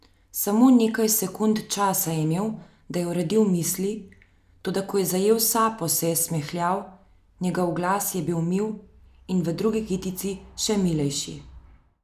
Samo nekaj sekund časa je imel, da je uredil misli, toda ko je zajel sapo, se je smehljal, njegov glas je bil mil in v drugi kitici še milejši.